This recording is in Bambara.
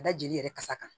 Da jeli yɛrɛ kasa kan